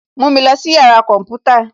Mú mi lọ sí yàrá kọ̀ḿpútà